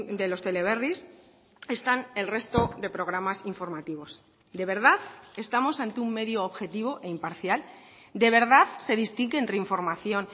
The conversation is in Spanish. de los teleberris están el resto de programas informativos de verdad estamos ante un medio objetivo e imparcial de verdad se distingue entre información